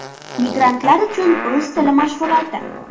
Migrantlar uchun rus tili mashg‘uloti.